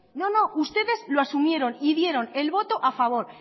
no no ustedes lo asumieron y dieron el voto a favor